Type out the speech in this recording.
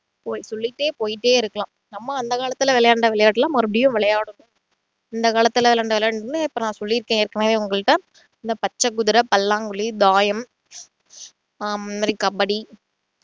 போய் சொல்லிட்டே போயிட்டே இருக்கலாம் நம்மளும் அந்த காலத்துல விளையாண்ட விளையாட்டு எல்லாம் மறுபடியும் விளையாடணும். அந்த காலத்துல விளையாண்ட விளையாடெல்லாம் சொல்லியொருக்கேன் ஏற்கனவே உங்களுக்கிட்ட அந்த பச்சை குதிரை, பல்லாங்குழி, தாயம் ஆஹ் கபடி